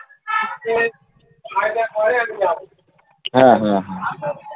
হ্যাঁ হ্যাঁ হ্যাঁ